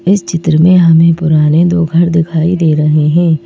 इस चित्र में हमें पुराने दो घर दिखाई दे रहे हैं।